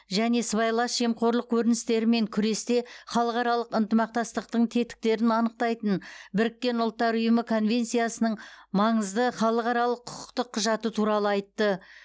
және сыбайлас жемқорлық көріністерімен күресте халықаралық ынтымақтастықтың тетіктерін анықтайтын біріккен ұлттар ұйымы конвенциясының маңызды халықаралық құқықтық құжаты туралы айтты